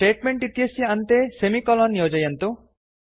statement इत्यस्य अन्ते semicolon योजयन्तु